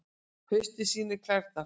Haustið sýnir klærnar